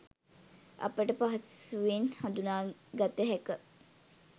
අපට පහසුවෙන් හඳුනාගත හැක